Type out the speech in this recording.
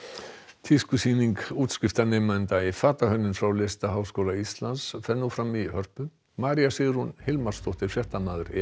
tískusýning útskriftarnema í fatahönnun frá Listaháskóla Íslands fer nú fram í Hörpu María Sigrún Hilmarsdóttir fréttamaður já